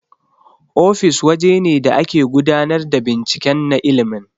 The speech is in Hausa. Ofis waje ne da ake gudanar da binciken na ilmin